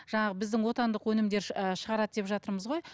жаңағы біздің отандық өнімдер і шығарады деп жатырмыз ғой